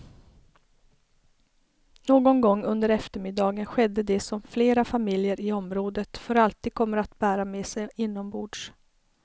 Någon gång under eftermiddagen skedde det som flera familjer i området för alltid kommer att bära med sig inombords.